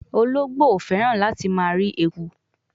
Ologbo o feran lati ma ri ekun